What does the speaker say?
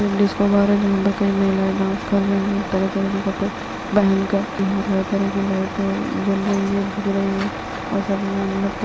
ये एक disco bar है जहाँ पे कई महिलाए डांस कर रही हैं तरह-तरह के कपड़े पहनकर यहाँ पर हर तरह की लाइट जल रही है बुझ रही है और सभी यहाँ नृत --